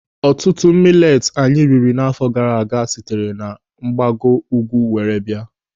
Ọtụtụ mileti anyị riri n'áfọ gaara aga sitere na mgbago ugwu were bịa.